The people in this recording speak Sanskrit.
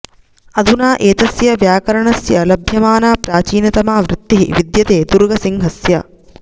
अधुना एतस्य व्याकरणस्य लभ्यमाना प्राचीनतमा वृत्तिः विद्यते दुर्गसिंहस्य